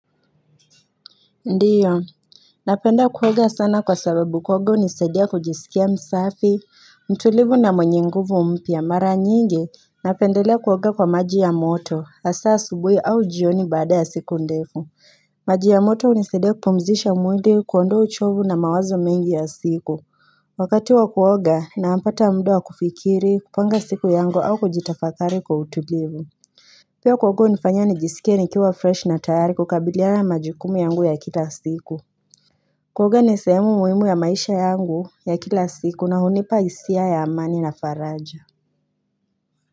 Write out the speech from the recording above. Ndio, napenda kuoga sana kwa sababu kuoga hunisaidia kujisikia msafi, mtulivu na mwenye nguvu mpya mara nyingi, napendelea kuoga kwa maji ya moto, hasaa asubuhi au jioni baada ya siku ndefu. Maji ya moto hunisaidia kupumzisha mwili kuondoa uchovu na mawazo mengi ya siku. Wakati wa kuoga napata muda wa kufikiri, kupanga siku yangu au kujitafakari kwa utulivu. Pia kuoga hunifanya nijisike nikiwa fresh na tayari kukabiliana na majukumu yangu ya kila siku. Kuoga ni sehemu muhimu ya maisha yangu ya kila siku na hunipa hisia ya amani na faraja.